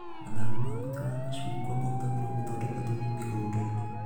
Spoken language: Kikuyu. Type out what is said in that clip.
Mathangũ ma mũtĩ wa macungwa mahũthagĩrwo gũthondeka thumu mĩgũnda-inĩ